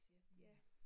Mh